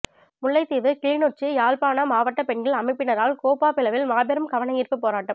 முல்லைத்தீவு கிளிநொச்சி யாழ்ப்பான மாவட்ட பெண்கள் அமைப்பினரால் கேப்பாபிலவில் மாபெரும் கவனயீர்ப்பு போராட்டம்